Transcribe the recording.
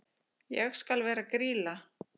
Ég skal vera Grýla.